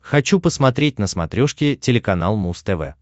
хочу посмотреть на смотрешке телеканал муз тв